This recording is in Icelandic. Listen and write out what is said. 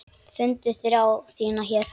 Fundið þrá þína hér.